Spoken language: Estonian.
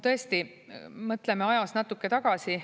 Tõesti, mõtleme ajas natuke tagasi.